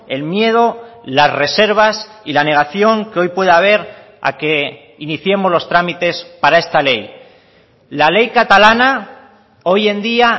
el miedo las reservas y la negación que hoy puede haber a que iniciemos los trámites para esta ley la ley catalana hoy en día